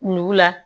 Ɲukula